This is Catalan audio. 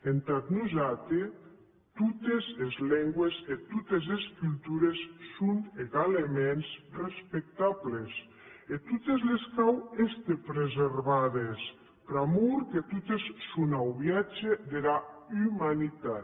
entà nosati totes es lengües e totes es cultures son egalements respectables e a totes les cau èster preservades pr’amor que totes son auviatge dera umanitat